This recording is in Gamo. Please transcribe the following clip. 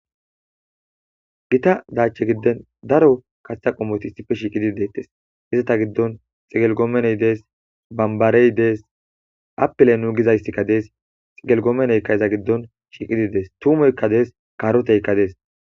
gita daache giden daro kathetha qomoti issife shiiqidi deettes izata giddon xigelgoomeney dees bambarey dees apele nu gizayssikka dees xigelgoomeneykka eza giddon shiiqidi dees tumoykka dees kaaroteykka dees